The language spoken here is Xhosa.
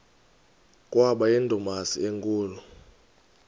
kwaba yindumasi enkulu